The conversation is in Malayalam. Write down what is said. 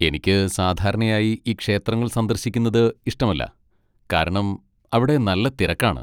എനിക്ക് സാധാരണയായി ഈ ക്ഷേത്രങ്ങൾ സന്ദർശിക്കുന്നത് ഇഷ്ടമല്ല, കാരണം അവിടെ നല്ല തിരക്കാണ്.